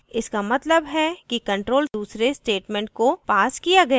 इसका मतलब है कि control दूसरे statement को पास किया गया था